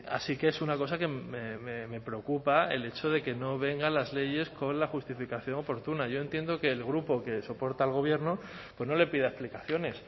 así que es una cosa que me preocupa el hecho de que no vengan las leyes con la justificación oportuna yo entiendo que el grupo que soporta al gobierno pues no le pida explicaciones